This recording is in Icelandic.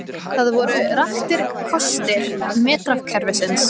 Þar voru raktir kostir metrakerfisins.